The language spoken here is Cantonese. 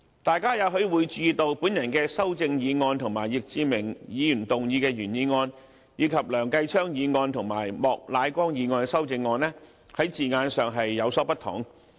大家也許會注意到我的修正案與易志明議員提出的原議案，以及梁繼昌議員和莫乃光議員提出的修正案，在字眼上有所不同。